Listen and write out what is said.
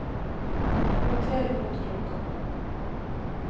roter mot klokka